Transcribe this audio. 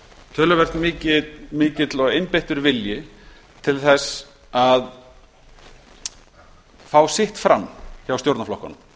töluvert mikill og einbeittur vilji til að fá sitt fram hjá stjórnarflokkunum